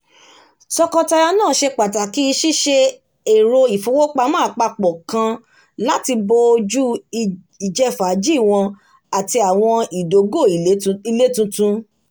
tọkọtaya náà ṣe pàtàkì ṣíṣe èrò ìfowópamọ́ apapọ kan láti bò ojú ìjẹ́fàájì wọn àti àwọn ìdógó ilé tuntun